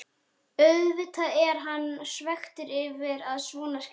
Auðvitað er hann svekktur yfir að svona skyldi fara.